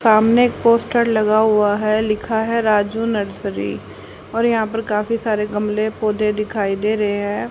सामने एक पोस्टर लगा हुआ है लिखा है राजू नर्सरी और यहां पर काफी सारे गमले पौधे दिखाई दे रहे हैं।